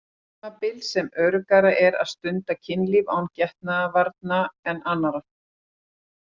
Það tímabil sem öruggara er að stunda kynlíf án getnaðarvarna en annarr.